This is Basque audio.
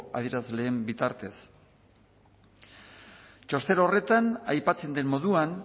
adierazleren bitartez txosten horretan aipatzen den moduan